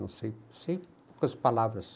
Não sei, sei poucas palavras.